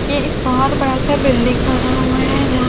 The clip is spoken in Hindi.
ये एक बहोत बड़ा सा बिल्डिंग बना हुआ है। जहा--